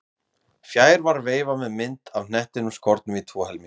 Fjær var veifa með mynd af hnettinum skornum í tvo helminga.